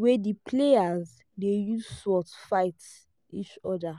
wey di players dey use sword fight each other